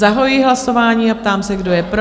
Zahajuji hlasování a ptám se, kdo je pro?